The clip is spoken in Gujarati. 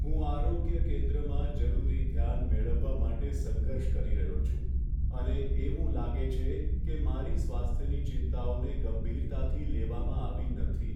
હું આરોગ્ય કેન્દ્રમાં જરૂરી ધ્યાન મેળવવા માટે સંઘર્ષ કરી રહ્યો છું, અને એવું લાગે છે કે મારી સ્વાસ્થ્યની ચિંતાઓને ગંભીરતાથી લેવામાં આવી નથી.